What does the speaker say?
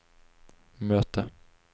möte